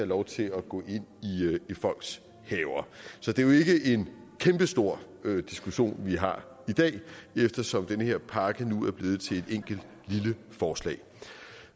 lov til at gå ind i folks haver så det er jo ikke en kæmpestor diskussion vi har i dag eftersom den her pakke nu er blevet til et enkelt lille forslag